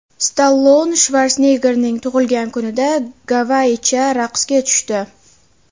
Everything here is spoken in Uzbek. Stallone Shvarseneggerning tug‘ilgan kunida gavayicha raqsga tushdi .